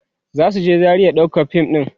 zasu je Zaria ɗaukan fim ɗin